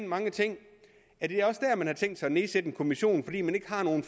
mange ting man har tænkt sig at nedsætte en kommission fordi man ikke har nogen